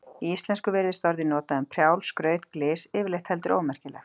Í íslensku virðist orðið notað um prjál, skraut, glys, yfirleitt heldur ómerkilegt.